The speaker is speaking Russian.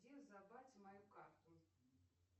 где забрать мою карту